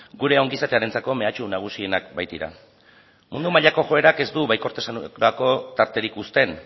gure ongizatearentzako mehatxu nagusienak baitira mundu mailako joerak ez du baikortasunerako tarterik uzten